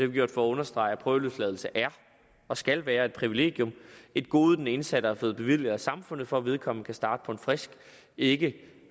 vi gjort for at understrege at prøveløsladelse er og skal være et privilegium et gode den indsatte er blevet bevilget af samfundet for at vedkommende kan starte på en frisk ikke